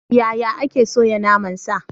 Yaya ake soya naman sa?